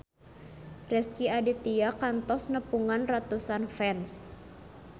Rezky Aditya kantos nepungan ratusan fans